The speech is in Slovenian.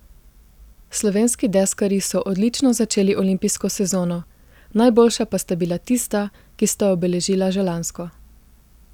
Slovenski deskarji so odlično začeli olimpijsko sezono, najboljša pa sta bila tista, ki sta obeležila že lansko.